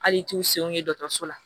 Hali i t'u senw ye dɔgɔtɔrɔso la